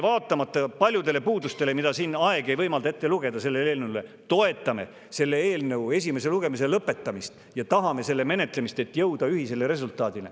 Vaatamata paljudele selle eelnõu puudustele, mida siin aeg ei võimalda ette lugeda, toetame meie selle eelnõu esimese lugemise lõpetamist ja tahame selle menetlemist, et jõuda ühisele resultaadile.